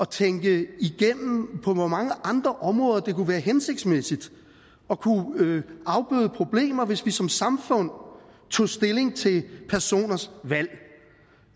tænke igennem på hvor mange andre områder det kunne være hensigtsmæssigt at kunne afbøde problemer hvis vi som samfund tog stilling til personers valg